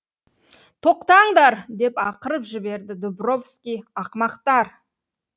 тоқтаңдар деп ақырып жіберді дубровский ақымақтар